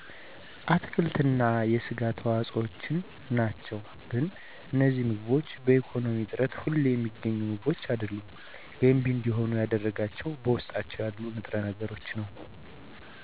አትክልት እና የስጋ ተዋፆዎችናቸው ግን እነዚህ ምግቦች በኢኮነሚ እጥረት ሁሌ ሚገኙ ምግቦች አደሉም ገንቢ እንዲሆኑ ያደረጋቸው በውስጣቸው ያለው ንጥረ ነገር ነው